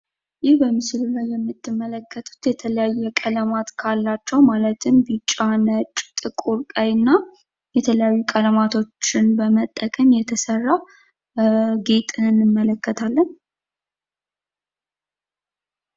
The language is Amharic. ይህ በምስሉ ላይ የምትመለከቱት የተለያየ ቀለማት ካሏቸው ማለትም ቢጫ፥ ነጭ፥ ጥቁር፥ ቀይ እና የተለያዩ ቀለማቶችን በመጠቀም የተሰራ ጌጥ እንመለከታለን።